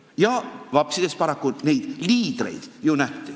Ja vapsides paraku neid liidreid nähti.